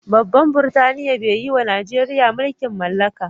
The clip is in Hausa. Babban burtaniya be tayiwa Nijeriya mulki'n mallaka.